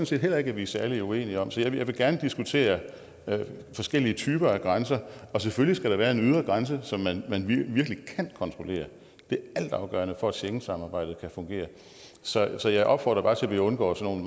set heller ikke at vi er særlig uenige om så jeg vil gerne diskutere forskellige typer af grænser og selvfølgelig skal der være en ydre grænse som man virkelig det er altafgørende for at schengensamarbejdet kan fungere så så jeg opfordrer bare til at vi undgår nogle